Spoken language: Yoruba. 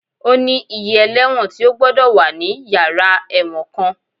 Ó ní iye ẹlẹ́wọ̀n tí ó gbọ́dọ̀ wà ní yàrá ẹ̀wọ̀n kan